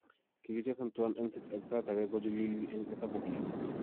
Kigichesan tuan en City ak en sait age kochilili en hesabukyik